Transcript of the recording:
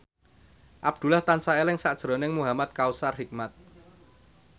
Abdullah tansah eling sakjroning Muhamad Kautsar Hikmat